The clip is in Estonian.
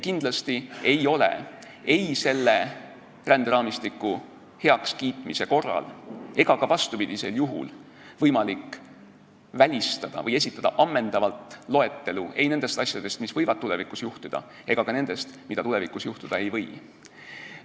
Kindlasti ei ole ei selle ränderaamistiku heakskiitmise korral ega ka vastupidisel juhul võimalik esitada ammendavat loetelu nendest asjadest, mis võivad tulevikus juhtuda, ega ka nendest, mis tulevikus juhtuda ei või.